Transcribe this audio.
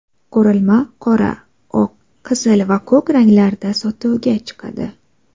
Qurilma qora, oq, qizil va ko‘k ranglarda sotuvga chiqadi.